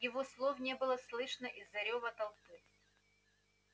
его слов не было слышно из-за рёва толпы